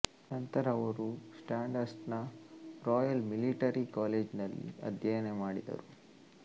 ನಂತರ ಅವರು ಸ್ಯಾಂಡ್ಹರ್ಸ್ಟ್ನ ರಾಯಲ್ ಮಿಲಿಟರಿ ಕಾಲೇಜಿನಲ್ಲಿ ಅಧ್ಯಯನ ಮಾಡಿದರು